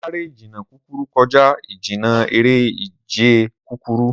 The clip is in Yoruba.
Sáré ìjìnnà kúkúrú kọjá ìjìnnà eré ìje kúkúrú.